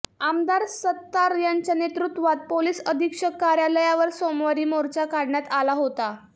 आमदार सत्तार यांच्या नेतृत्वात पोलिस अधीक्षक कार्यालयावर सोमवारी मोर्चा काढण्यात आला होता